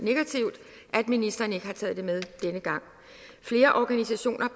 at ministeren ikke har taget det med denne gang flere organisationer